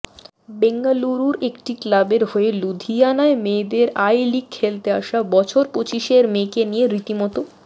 বেঙ্গালুরুর একটি ক্লাবের হয়ে লুধিয়ানায় মেয়েদের আই লিগ খেলতে আসা বছর পঁচিশের মেয়েকে নিয়ে রীতিমতো